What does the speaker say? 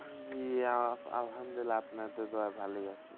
আমি আলহামদুল্লিয়াহ আপনাদের দয়ায় ভালোই আছি।